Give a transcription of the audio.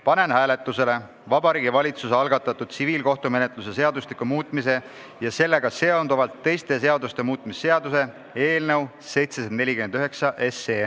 Panen hääletusele Vabariigi Valitsuse algatatud tsiviilkohtumenetluse seadustiku muutmise ja sellega seonduvalt teiste seaduste muutmise seaduse eelnõu 749.